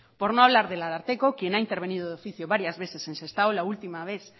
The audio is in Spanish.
por no hablar del ararteko quien ha intervenido de oficio varias veces en sestao la última vez